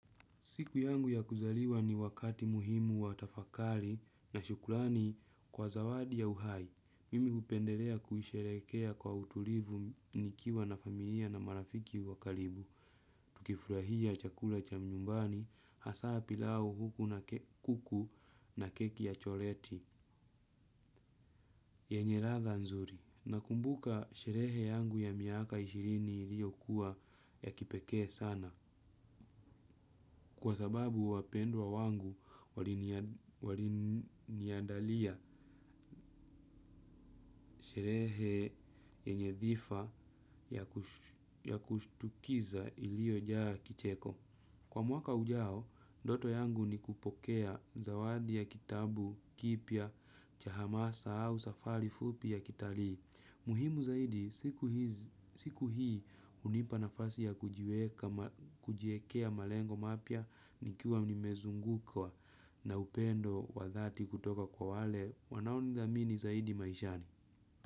Siku yangu ya kuzaliwa ni wakati muhimu wa tafakari na shukrani kwa zawadi ya uhai. Mimi hupendelea kuisherehekea kwa utulivu nikiwa na familia na marafiki wa karibu. Tukifurahia chakula cha nyumbani, hasa pilau huku na kuku na keki ya choleti. Yenye ladha nzuri. Nakumbuka sherehe yangu ya miaka ishirini liyokuwa ya kipekee sana. Kwa sababu wapendwa wangu waliniandalia sherehe yenye dhifa ya kushtukiza iliyojaa kicheko. Kwa mwaka ujao, ndoto yangu ni kupokea zawadi ya kitabu, kipya, cha hamasa au safari fupi ya kitalii. Muhimu zaidi, siku hii hunipa nafasi ya kujiekea malengo mapya nikiwa nimezungukwa na upendo wa dhati kutoka kwa wale. Wanao nidhamini zaidi maishani.